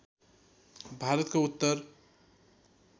भारतको उत्तर